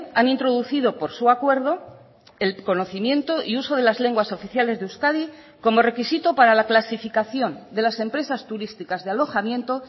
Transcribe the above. han introducido por su acuerdo el conocimiento y uso de las lenguas oficiales de euskadi como requisito para la clasificación de las empresas turísticas de alojamiento